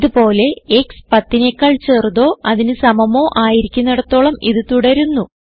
ഇത് പോലെ ക്സ് 10നെക്കാൾ ചെറുതോ അതിന് സമമോ ആയിരിക്കുന്നിടത്തോളം ഇത് തുടരുന്നു